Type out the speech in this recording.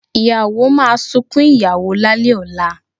Ìyàwó máa sunkún ìyàwó lálẹ̀ ọ̀la